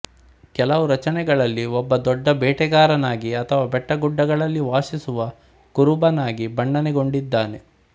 ಕೆಲವು ರಚನೆಗಳಲ್ಲಿ ಒಬ್ಬ ದೊಡ್ಡ ಬೇಟೆಗಾರನಾಗಿ ಅಥವಾ ಬೆಟ್ಟಗುಡ್ಡಗಳಲ್ಲಿ ವಾಸಿಸುವ ಕುರುಬನಾಗಿ ಬಣ್ಣನೆಗೊಂಡಿದ್ದಾನೆ